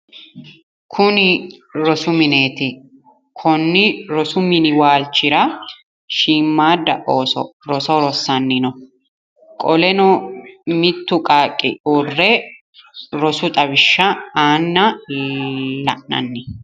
Kuni rosu mineeti konnni rosu mini waalchira shiimmaadda ooso rossanni no qoleno mittu qaaqqi uurre rosu xawishsha aanna la'nanni.